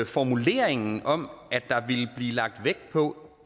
formuleringen om at der ville blive lagt vægt på